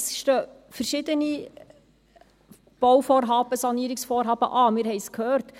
Es stehen verschiedene Bau- und Sanierungsvorhaben an, wir haben es gehört.